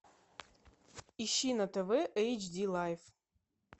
ищи на тв эйч ди лайф